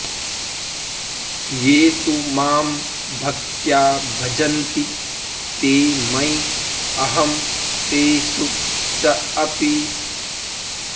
ये तु मां भक्त्या भजन्ति ते मयि अहं तेषु च अपि